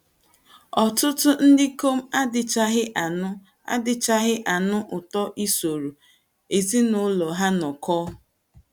Ọtụtụ ndị ikom adịchaghị anụ adịchaghị anụ ụtọ isoro ezinụlọ ha nọkọọ....